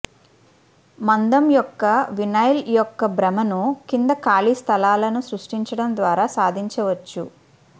మందం యొక్క వినైల్ యొక్క భ్రమను కింద ఖాళీ స్థలాలను సృష్టించడం ద్వారా సాధించవచ్చు